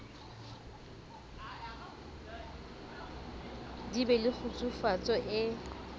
di be le kgutsufatso e